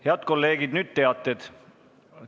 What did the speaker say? Head kolleegid, nüüd teated.